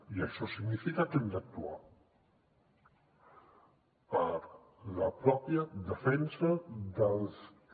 i això significa que hem d’actuar per la pròpia defensa dels que